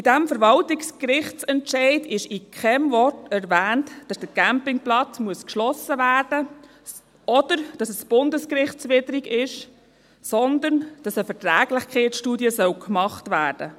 In diesem Verwaltungsgerichtsentscheid wurde mit keinem Wort erwähnt, dass der Campingplatz geschlossen werden müsse oder dass es bundesrechtswidrig sei, sondern dass eine Verträglichkeitsstudie zu machen sei.